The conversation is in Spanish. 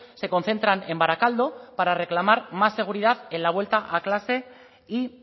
se concentran en barakaldo para reclamar más seguridad en la vuelta a clase y